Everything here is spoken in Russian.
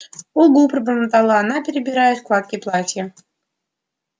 угу пробормотала она перебирая складки платья